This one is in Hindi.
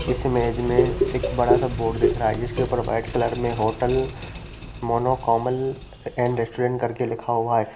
इस इमेज में एक बड़ा बोर्ड दिख रहा है जिसके ऊपर वाइट कलर का hotel Mano Komal and restaurant करके लिखा हुआ है ।